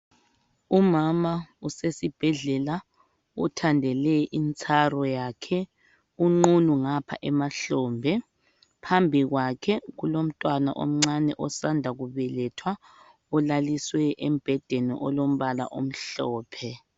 Umama usesibhedlela uthandele intsaro yakhe unqunu ngapha emahlombe phambi kwakhe kulomntwana omncane osanda kubelethwa olaliswe embhedeni olombala omhlophe